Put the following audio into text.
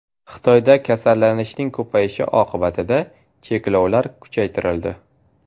Xitoyda kasallanishning ko‘payishi oqibatida cheklovlar kuchaytirildi.